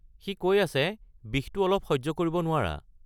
সি কৈ আছে বিষটো অলপ সহ্য কৰিব নোৱাৰা।